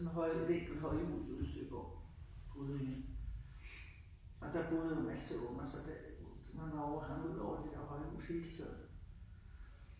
Vi holde vi holdte vi ikke holdt jul ude i Søborg ude i og der boede en masse unger så der og så nogle år var vi derude og holde jul hele tiden